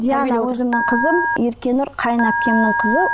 диана өзімнің қызым еркенұр қайын әпкемнің қызы